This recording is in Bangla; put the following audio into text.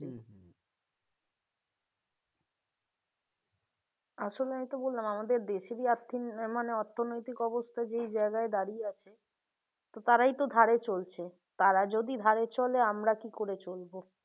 আসলেই তো বললাম আমাদের দেশেরই আর্থিক মানে অর্থনৈতিক অবস্থা যেই জায়গায় দাঁড়িয়াছে তারাই তো ধারে চলছে তারা যদি ধারে চলে আমরা কি করে চলবো?